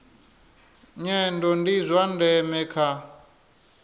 nyendo ndi zwa ndeme kha